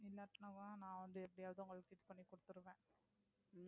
இல்லாட்டினாவா நான் வந்து எப்படியாவது உங்களுக்கு Fix பன்னி குடுத்திருவேன்